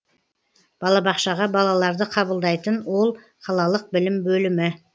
балабақшаға балаларды қабылдайтын ол қалалық білім бөлімі